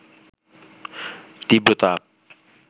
তীব্র তাপ